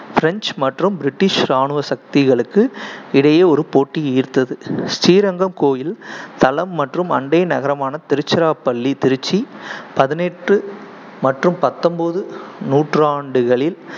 french மற்றும் british இராணுவ சக்திகளுக்கு இடையே ஒரு போட்டி ஈர்த்தது. ஸ்ரீரங்கம் கோயில் தளம் மற்றும் அண்டை நகரமான திருச்சிராப்பள்ளி திருச்சி பதினெட்டு மற்றும் பத்தொன்பது நூற்றாண்டுகளில்